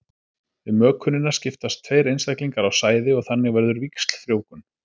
við mökunina skiptast tveir einstaklingar á sæði og þannig verður víxlfrjóvgun